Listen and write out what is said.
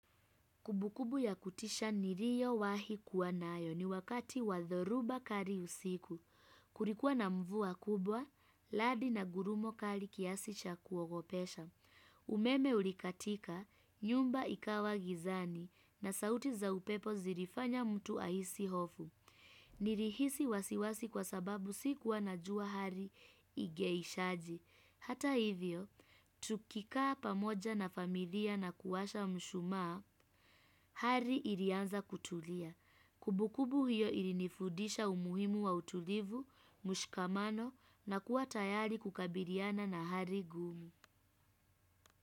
Kumbu kumbu ya kutisha niliyowahi kuwa nayo ni wakati wa dhoruba kali usiku. Kulikuwa na mvua kubwa, radi na ngurumo kali kiasi cha kuogopesha. Umeme ulikatika, nyumba ikawa gizani na sauti za upepo zilifanya mtu ahisi hofu. Nilihisi wasiwasi kwa sababu sikuwa na jua hali ingeishaje. Hata hivyo, tukikaa pamoja na familia na kuwasha mshumaa, hali ilianza kutulia. Kumbu kumbu hiyo ilinifudisha umuhimu wa utulivu, mshikamano na kuwa tayari kukabiliana na hali ngumu.